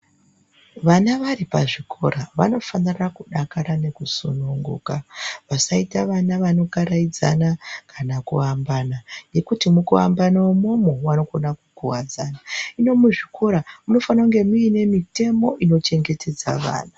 Vana vari pazvikora vanofanira kudakara nekusununguka vasaita vana vanokaraidzana kana kuambana nekuti mukuambana umomo vanokonakukuwadzana hino muzvikora munofana kunge mune mitemo inochengetedza vana